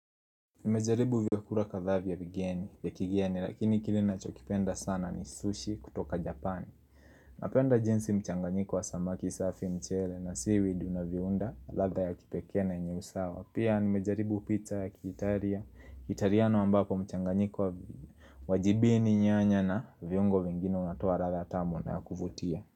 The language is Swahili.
Nimejaribu vyakula kadhaa vya vigeni, ya kigeni, lakini kile nachokipenda sana ni sushi kutoka Japani Napenda jinsi mchanganyiko wa samaki safi mchele na seaweed una viunda, radha ya kipekee na yenye usawa Pia nimejaribu pizza ya kiitaria, kitariano ambako mchanganyiko wa vigeni Wajibini nyanya na viungo vingine unatoa radha tamu na kuvutia.